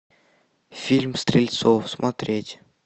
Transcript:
фильм стрельцов смотреть